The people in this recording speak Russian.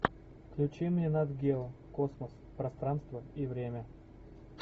включи мне нат гео космос пространство и время